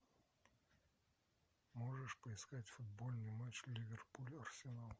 можешь поискать футбольный матч ливерпуль арсенал